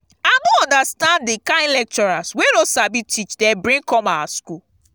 i no understand the kin lecturers wey no sabi teach dey bring come our school